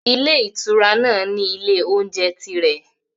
Ilé ìtura náà ní ilé-oúnjẹ tirẹ̀.